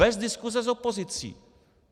Bez diskuse s opozicí.